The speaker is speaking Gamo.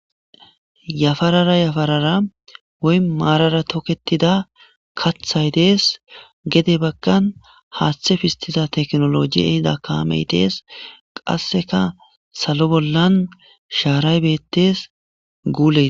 Yafarara yafarara woy maarara toketida kathay de'es gede baggan haaththe pistiza teknolojey ehida kaamey de'es qasseka salo bollan shaaray beettes guuley.